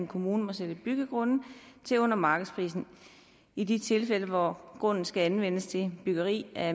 kommune må sælge byggegrunde til under markedsprisen i de tilfælde hvor grunden skal anvendes til byggeri af